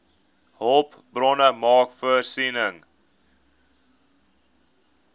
hulpbronne maak voorsiening